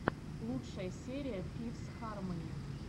лучшая серия фифс хармони